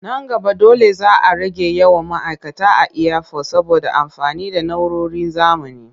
Nan gaba dole za a rage yawan ma'aikata a iyafot saboda amfani da na'uroron zamani.